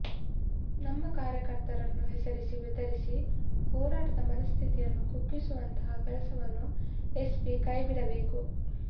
ನಮ್ಮ ಕಾರ್ಯಕರ್ತರನ್ನು ಹೆಸರಿಸಿ ಬೆದರಿಸಿ ಹೋರಾಟದ ಮನಸ್ಥಿತಿಯನ್ನು ಕುಗ್ಗಿಸುವಂತಹ ಕೆಲಸವನ್ನು ಎಸ್ಪಿ ಕೈಬಿಡಬೇಕು